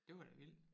Det var da vildt